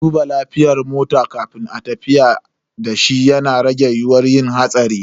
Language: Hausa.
Duba lafiyar mota kafin ayi tafiya dashi yana rage yiyuwar yin hatsari.